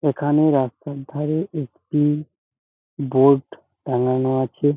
এখানে রাস্তার ধারে একটি বোর্ড টাঙ্গানো আছে।